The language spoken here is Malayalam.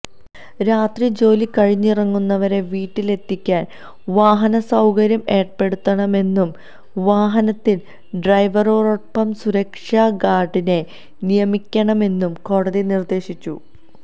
രാത്രി ജോലി കഴിഞ്ഞിറങ്ങുന്നവരെ വീട്ടിലത്തെിക്കാന് വാഹന സൌകര്യം ഏര്പ്പെടുത്തണമെന്നും വാഹനത്തില് ഡ്രൈവറോടൊപ്പം സുരക്ഷാ ഗാര്ഡിനെ നിയമിക്കണമെന്നും കോടതി നിര്ദേശിച്ചു